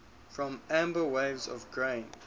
for amber waves of grain